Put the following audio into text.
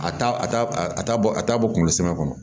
A t'a a t'a a t'a bɔ a t'a bɔ kunkolo sɛbɛ kɔnɔ